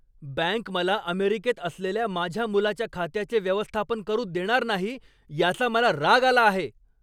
Bank मला अमेरिकेत असलेल्या माझ्या मुलाच्या खात्याचे व्यवस्थापन करू देणार नाही, याचा मला राग आला आहे.